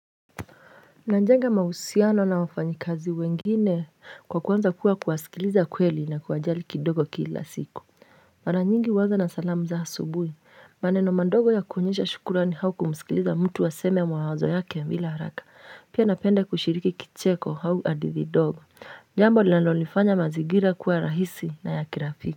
Nanjenga mahusiano na wafanyikazi wengine kwa kuwenza kuwa kuwasikiliza kweli na kuwajali kidogo kila siku. Mara nyingi huanza na salamu za asubui. Maneno mandogo ya kuonyesha shukurani hau kumusikiliza mtu aseme mawazo yake bila haraka. Pia napenda kushiriki kicheko hau hadithi dogo. Jambo linalonifanya mazigira kuwa rahisi na ya kirafiki.